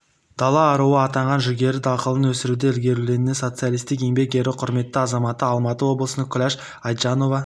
дала аруы атанған жүгері дақылын өсірудің ілгерілеуіне социалистік еңбек ері құрметті азаматы алматы облысының күләш айтжанова